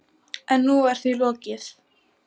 En nú var því líka lokið.